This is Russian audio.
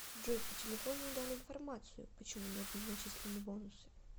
джой по телефону не дали информацию почему не были начислены бонусы